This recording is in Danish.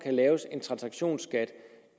laves en transaktionsskat